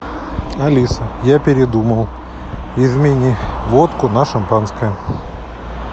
алиса я передумал измени водку на шампанское